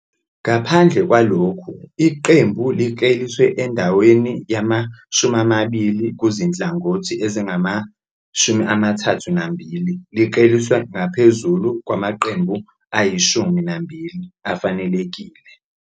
Ngaphandle kwalokhu, iqembu likleliswe endaweni yama-20 kuzinhlangothi ezingama-32, likleliswe ngaphezulu kwamaqembu ayi-12 afanelekile.